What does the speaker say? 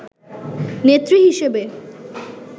নেত্রী হিসেবে